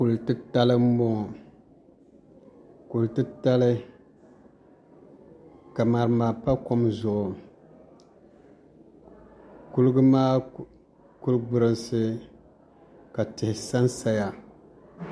Kuli titali n boŋo kuli titali ka ŋarima pa kom zuɣu kuliga maa kuli gburinsi ka tihi sansaya